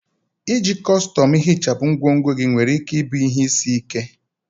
Iji kọstọm ihichapụ ngwongwo gị nwere ike ịbụ ihe isi ike.